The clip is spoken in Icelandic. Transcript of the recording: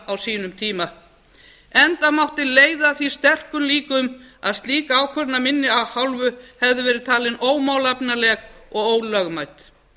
á sínum tíma enda mátti leiða að því sterkum líkum að slík ákvörðun af minni hálfu hefði verið talin ómálefnaleg og ólögmæt